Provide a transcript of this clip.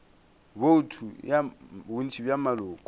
bouto ya bontši bja maloko